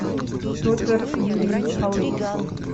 петр юрьевич алыпов